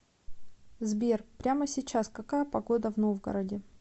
сбер прямо сейчас какая погода в новгороде